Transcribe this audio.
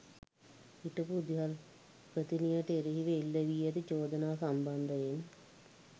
හිටපු විදුහල්පතිනියට එරෙහිව එල්ල වී ඇති චෝදනා සම්බන්ධයෙන්